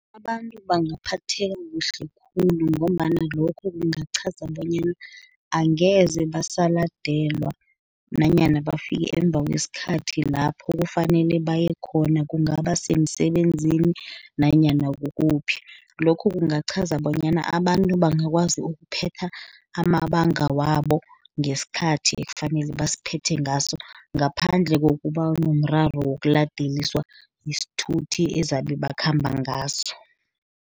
Abantu bangaphatheka kuhle khulu, ngombana lokho kungachaza bonyana, angeze basaladelwa, nanyana bafike emuva kwesikhathi lapho kufanele baye khona, kungaba semsebenzini, nanyana kukuphi. Lokho kungachaza bonyana abantu bangakwazi ukuphetha amabanga wabo, ngesikhathi ekufanele basiphethe ngaso, ngaphandle kokuba nomraro wokuladeliswa sithuthi ezabe bakhamba ngaso.